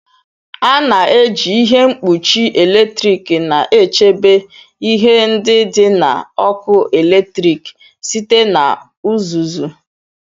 A na-eji ihe mkpuchi eletrik na-echebe ihe ndị dị na ọkụ eletrik site na uzuzu.